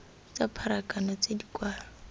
tsa pharakano tse di kwa